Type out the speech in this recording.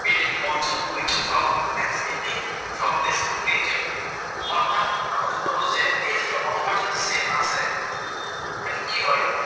Pre monsoon wind from escaping from this region. মই আপোনাক আগতে কʼলো যে এই যিটো অসমৰ যিটো চেপ আছে